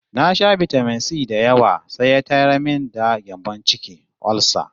Na sha bitamin-si da yawa sai ya tayar min da gyambon ciki (olsa)